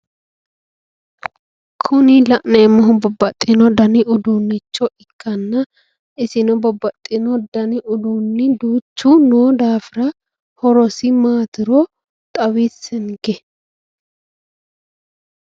Kuni la'neemmohu babbaxeyo danni uduunicho ikkanna isino babbaxino danni uduuni duuchu noo daafira horosi maatiro xawissenke.